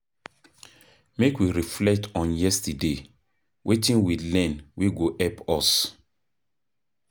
Make we reflect on yesterday, wetin we learn wey go help us?